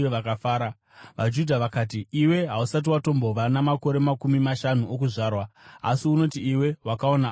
VaJudha vakati, “Iwe hausati watombova namakore makumi mashanu okuzvarwa, asi unoti iwe wakaona Abhurahama!”